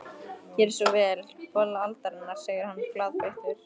Gerið svo vel, bolla aldarinnar, segir hann glaðbeittur.